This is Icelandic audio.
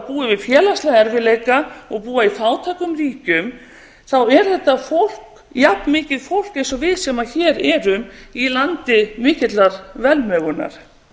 við félagslega erfiðleika og búi í fátækum ríkjum þá er þetta fólk jafnmikið fólk eins og við sem hér erum í landi mikillar velmegunar